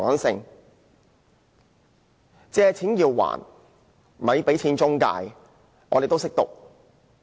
"借錢梗要還，咪俾錢中介"，我們都聽得懂。